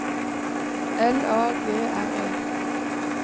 L A G R E